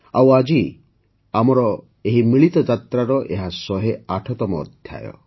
ଆଉ ଆଜି ଆମର ଏହି ମିଳିତ ଯାତ୍ରାର ଏହା ୧୦୮ତମ ଅଧ୍ୟାୟ